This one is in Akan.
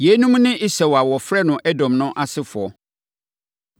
Yeinom ne Esau a wɔfrɛ no Edom no asefoɔ.